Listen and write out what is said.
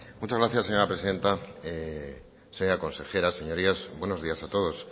muchas gracias presidenta señora consejera señorías buenos días a todos